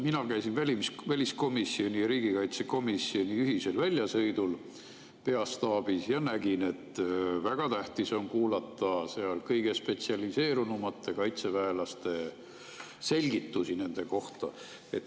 Mina käisin väliskomisjoni ja riigikaitsekomisjoni ühisel väljasõidu peastaabis ja nägin, et väga tähtis on kuulata seal kõige spetsialiseerunumate kaitseväelaste selgitusi.